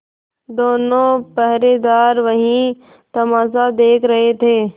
दोनों पहरेदार वही तमाशा देख रहे थे